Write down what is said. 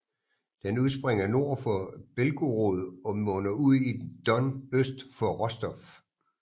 Den udspringer nord for Belgorod og munder ud i Don øst for Rostov